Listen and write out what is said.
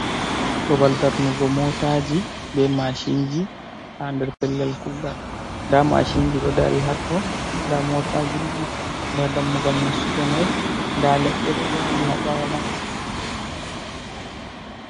Babal darnugo motaji be mashinji, ha nder pellel kugal, nda mashinji ɗo dari hatto, nda motaji, nda dammugal nasugo mai, nda leɗɗe ɗo vagi ha ɓawo mai.